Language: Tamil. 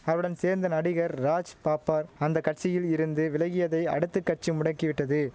அவருடன் சேர்ந்த நடிகர் ராஜ் பாப்பர் அந்த கட்சியில் இருந்து விலகியதை அடுத்து கட்சி முடக்கி விட்டது